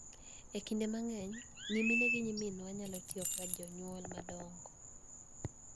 E kinde mang�eny, nyimine gi nyiminwa nyalo tiyo kaka jonyuol madongo,